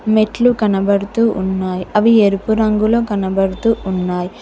మెట్లు కనబడుతూ ఉన్నాయి అవి ఎరుపు రంగులో కనబడుతూ ఉన్నాయి.